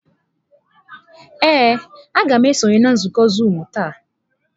Ee, m ga-esonye na nzukọ zuumu taa.